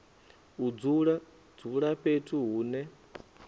u dzula dzula fhethu hune